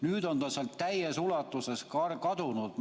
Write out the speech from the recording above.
Nüüd on ta sealt täies ulatuses kadunud.